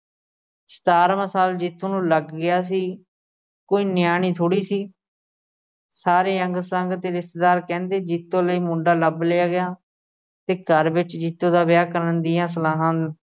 ਸਤਾਰਵਾਂ ਸਾਲ ਜੀਤੋ ਨੂੰ ਲੱਗ ਗਿਆ ਸੀ। ਕੋਈ ਨਿਆਣੀ ਥੋੜ੍ਹੀ ਸੀ ਸਾਰੇ ਅੰਗ-ਸੰਗ ਤੇ ਰਿਸ਼ਤੇਦਾਰ ਕਹਿੰਦੇ ਜੀਤੋ ਲਈ ਮੁੰਡਾ ਲੱਭ ਲਿਆ ਗਿਆ ਤੇ ਘਰ ਵਿੱਚ ਜੀਤੋ ਦਾ ਵਿਆਹ ਕਰਨ ਦੀਆਂ ਸਲਾਹਾਂ